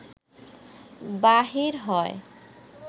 বাহির হয়